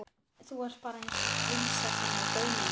Þú ert bara eins og prinsessan á bauninni!